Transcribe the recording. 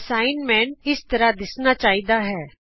assignment ਇਸ ਤਰ੍ਹਾਂ ਦਿੱਸਣਾ ਚਾਹੀਦਾ ਹੈ